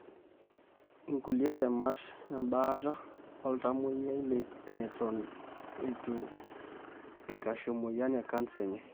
inkulie temat embaata oltamoyia netu eikashu emoyian ecanser enye.